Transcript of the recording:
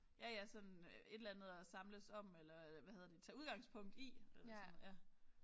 Ja ja sådan et eller andet at samles om eller hvad hedder det tage udgangspunkt i eller sådan noget ja